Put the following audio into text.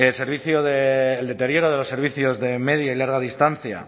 el deterioro de los servicios de media y larga distancia